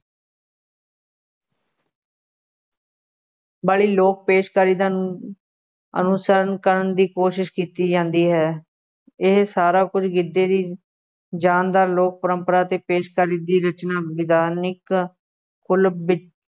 ਵਾਲੀ ਲੋਕ ਪੇਸ਼ਕਾਰੀ ਦਾ ਅਨੁਸਰਣ ਕਰਨ ਦੀ ਕੋਸ਼ਿਸ਼ ਕੀਤੀ ਜਾਂਦੀ ਹੈ, ਇਹ ਸਾਰਾ ਕੁੱਝ ਗਿੱਧੇ ਦੀ ਜਾਣ ਦਾ ਲੋਕ ਪਰੰਪਰਾ ਅਤੇ ਪੇਸ਼ਕਾਰੀ ਦੀ ਰਚਨਾ ਵਿਧਾਨਿਕ ਕੁੱਲ ਵਿੱਚ